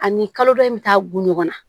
Ani kalo dɔ in bɛ taa bunkɔnna